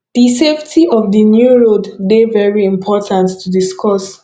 di safety of di new road de very important to discuss